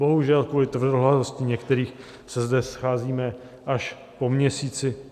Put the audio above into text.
Bohužel, kvůli tvrdohlavosti některých se zde scházíme až po měsíci.